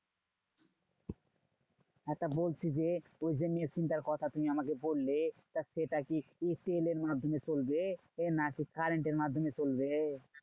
হ্যাঁ তা বলছি যে, ওই যে machine টার কথা তুমি আমাকে বললে। তা সেটা কি ECL এর মাধ্যমে চলবে? না কি current এর মাধ্যমে চলবে?